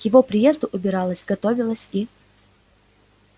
к его приезду убиралась готовилась и